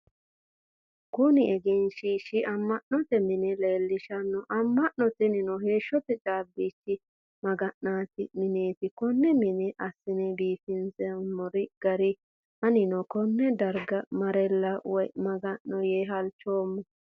Kunni egenshiishi ama'note minni leelishano. Ama'no tinnino heeshote caabichi maga'nate mineeti konne mine asine biifinse minoonni gari anninni Kone darga marela woyi maga'no yee halchoomo.